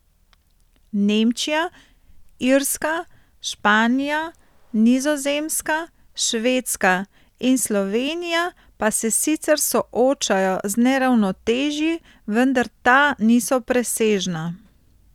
Nemčija, Irska, Španija, Nizozemska, Švedska in Slovenija pa se sicer soočajo z neravnotežji, vendar ta niso presežna.